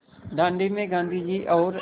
दाँडी में गाँधी जी और